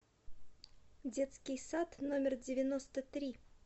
детский сад номер девяносто три